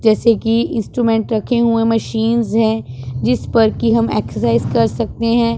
जैसे कि इंस्ट्रूमेंट रखे हुए मशीनस है। जिस पर कि हम एक्सरसाइज कर सकते हैं।